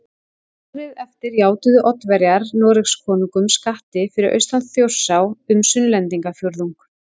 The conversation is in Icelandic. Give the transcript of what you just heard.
Árið eftir játuðu Oddaverjar Noregskonungum skatti fyrir austan Þjórsá um Sunnlendingafjórðung